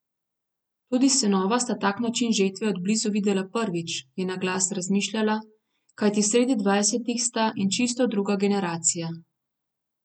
Tudi sinova sta tak način žetve od blizu videla prvič, je na glas razmišljala, kajti sredi dvajsetih sta in čisto druga generacija.